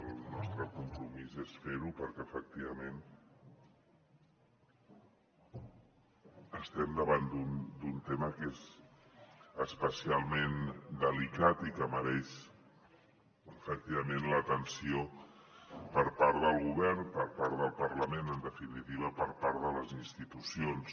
el nostre compromís és fer ho perquè efectivament estem davant d’un tema que és especialment delicat i que mereix efectivament l’atenció per part del govern per part del parlament en definitiva per part de les institucions